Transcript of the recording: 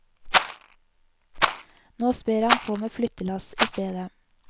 Nå sper han på med flyttelass i stedet.